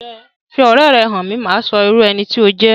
Fi ọ̀rẹ́ ẹ hàn mí, màá sọ irú ẹni tí o jẹ